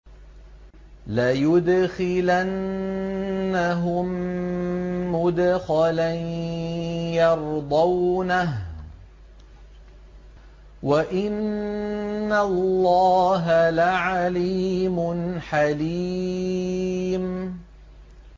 لَيُدْخِلَنَّهُم مُّدْخَلًا يَرْضَوْنَهُ ۗ وَإِنَّ اللَّهَ لَعَلِيمٌ حَلِيمٌ